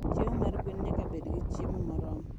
Chiemo mar gwen nyaka bed gi chiemo moromo.